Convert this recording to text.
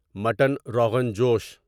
mutton rogan جوش